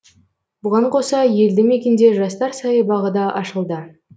бұған қоса елді мекенде жастар саябағы да ашылды